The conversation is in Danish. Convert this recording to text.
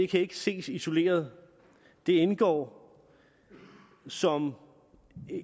kan ses isoleret det indgår som